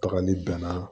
Tagali bɛnna